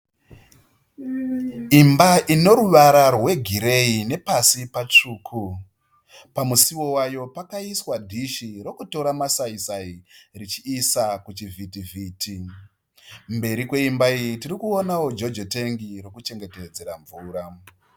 Imba ine ruvara rweghireyi nepasi patsvuku, pamusuwo pakaiswa dhishi rekutora masaisai richiisa kuchivhiti vhiti, mberi kweimba iyi tirikuonawo jojo tengi ririkuchengeterwa mvura.